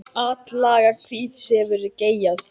Atlaga hvíts hefur geigað.